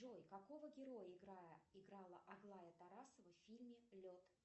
джой какого героя играла аглая тарасова в фильме лед